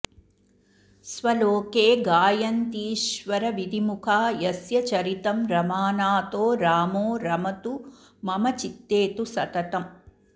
स्वलोके गायन्तीश्वरविधिमुखा यस्य चरितं रमानाथो रामो रमतु मम चित्ते तु सततम्